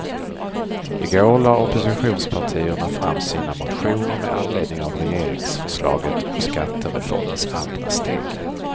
I går lade oppositionspartierna fram sina motioner med anledning av regeringsförslaget om skattereformens andra steg.